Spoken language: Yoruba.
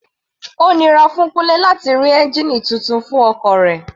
Ó nira fún Kunle láti rí ẹ́ngìnì titun fún ọkọ̀ rẹ̀.